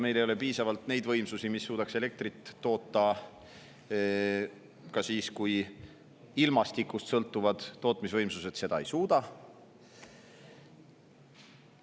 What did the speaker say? Meil ei ole piisavalt neid võimsusi, mis suudaks elektrit toota ka siis, kui ilmastikust sõltuvad tootmisvõimsused seda ei suuda.